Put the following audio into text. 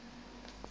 motho a ka re a